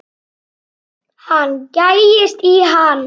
Hann gægist í hann.